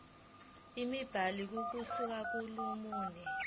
imibhalo ukusuka kolunye